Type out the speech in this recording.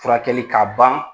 Furakɛli k'a ban